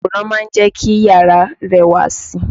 Àwòrán ma ń jẹ́ kí iyàrá rẹwà si.